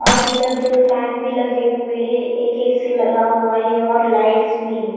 और इधर दो फैन भी लगे हुए है एक ए_ सी लगा हुआ है और लाइट्स भी है।